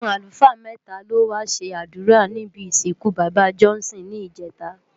Awọn alúfaa mètá ló wá ṣé adúrá nibi isinkú baba Johnson ni ijètá